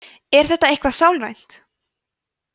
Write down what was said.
er þetta eitthvað sálrænt